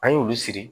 An y'olu siri